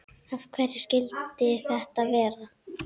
Af hverju skyldi þetta vera?